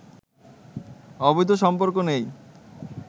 অবৈধ সম্পর্ক নেই